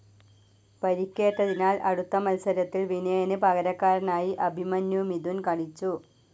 പരിക്കേറ്റതിനാൽ അടുത്ത മത്സരത്തിൽ വിനയന് പകരക്കാരനായി അഭിമന്യു മിഥുൻ കളിച്ചു.